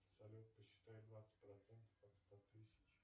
салют посчитай двадцать процентов от ста тысяч